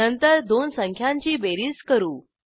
नंतर दोन संख्यांची बेरीज करू